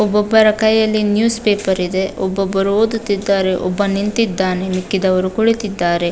ಒಬ್ಬೊಬ್ಬರ ಕೈಯಲ್ಲಿ ನ್ಯೂಸ್ಪೇಪರ್ ಇದೆ ಒಬ್ಬೊಬ್ಬರು ಓದುತ್ತಿದ್ದಾರೆ ಒಬ್ಬ ನಿಂತಿದ್ದಾನೆ ಮಿಕ್ಕಿದವರು ಕುಳಿತಿದ್ದಾರೆ.